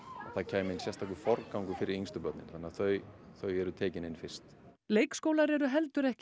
það kæmi inn sérstakur forgangur fyrir yngstu börnin þannig að þau þau eru tekin inn fyrst leikskólar eru heldur ekki